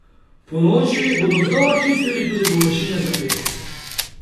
Ponoči bodo znova čistili tudi površine za pešce.